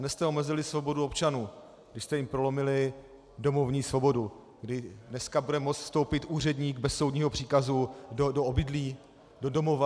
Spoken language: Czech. Dnes jste omezili svobodu občanů, když jste jim prolomili domovní svobodu, kdy dneska bude moct vstoupit úředník bez soudního příkazu do obydlí, do domova.